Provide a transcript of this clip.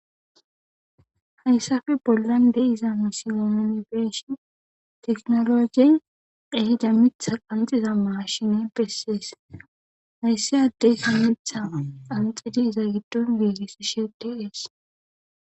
hayssappe bollan de'iza misile nuuni be'ishshin tekinolojjey ehidda miththa qanxiza mashine bessees hayssi addeykka miththa qanxidi iza giddon giigisishshe de'ees